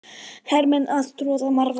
Hermenn að troða marvaða.